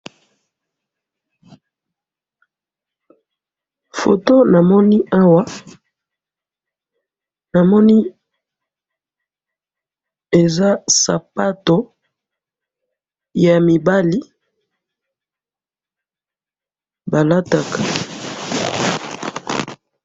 Eloko na moni awa eza sapato ya mibali balataka.